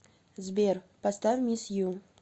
сбер поставь мисс ю